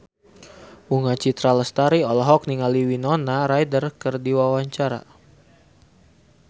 Bunga Citra Lestari olohok ningali Winona Ryder keur diwawancara